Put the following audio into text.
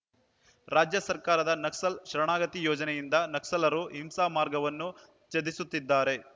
ರಾಜ್ಯ ಸರ್ಕಾರದ ನಕ್ಸಲ್‌ ಶರಣಾಗತಿ ಯೋಜನೆಯಿಂದ ನಕ್ಸಲರು ಹಿಂಸಾ ಮಾರ್ಗವನ್ನು ತ್ಯಜಿಸುತ್ತಿದ್ದಾರೆ